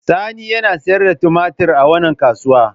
Sani yana sayar da tumatir a wannan kasuwa.